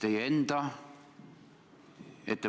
Aitäh!